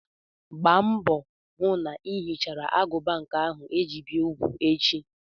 Gba mbọ hụ na ị hichara agụba nke a ga-eji bi úgwù echi!